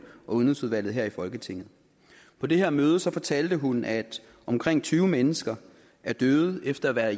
og udenrigsudvalget her i folketinget på det her møde fortalte hun at omkring tyve mennesker er døde efter at være